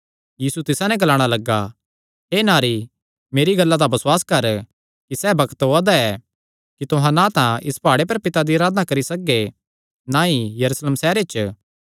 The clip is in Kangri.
यीशु तिसा नैं ग्लाणा लग्गा हे नारी मेरी गल्ला दा बसुआस कर कि सैह़ बग्त ओआ दा ऐ कि तुहां ना तां इस प्हाड़े पर पिता दी अराधना करी सकगे ना ई यरूशलेम सैहरे च